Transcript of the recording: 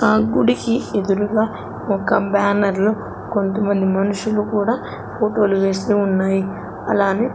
ఆ గుడికి ఎదురుగా ఒక బ్యానర్ లో కొంతమంది మనుషులు కూడా ఫోటోలు వేస్తూ ఉన్నాయ్ అలానే--